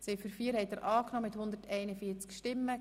Sie haben Ziffer 4 angenommen.